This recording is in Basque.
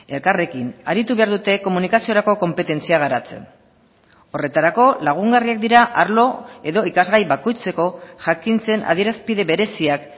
elkarrekin aritu behar dute komunikaziorako konpetentzia garatzen horretarako lagungarriak dira arlo edo ikasgai bakoitzeko jakintzen adierazpide bereziak